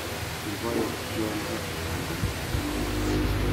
Ibayee tyondo anonoo?